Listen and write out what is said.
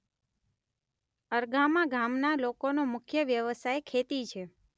અરગામા ગામના લોકોનો મુખ્ય વ્યવસાય ખેતી છે.